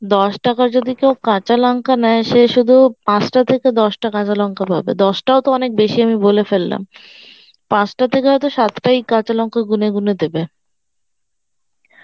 দশ টাকার যদি কেউ কাঁচা লঙ্কা নেয় সে শুধু পাঁচটা থেকে দশটা কাঁচা লঙ্কা পাবে দশটাও তো অনেক বেশি আমি বলে ফেললাম, পাঁচটা থেকে হয়তো সাতটায় কাঁচা লঙ্কা গুনে গুনে দেবে